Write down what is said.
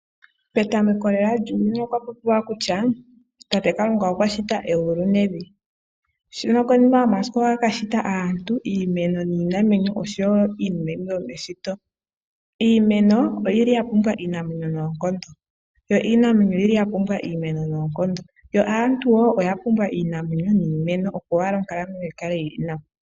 Petameko lela lyuuyuni okwapopiwa kutya tate Kalunga okwashita egulu nevi, nokonima yomasiku okwa kashita aantu, iimeno niinamwenyo oshowo iinima yimwe yomeshito. Iimeno oyili yapumbwa iinamwenyo noonkondo. Yo iinamwenyo oyi li yapumbwa iimeno noonkondo. Yo aantu woo oyapumbwa iinamwenyo niimeno op owala onkalamwenyo yikale yili nawa.